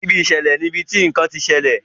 Ibi ìṣẹ̀lẹ̀ ní ibití nkán tí ṣẹlẹ.